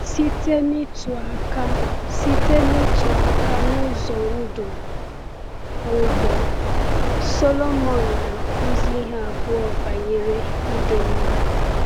Site n’ịtụ aka Site n’ịtụ aka n’ụzọ ndụ ugbo, Sọlomon na-akụzi ihe abụọ banyere ịdị mma.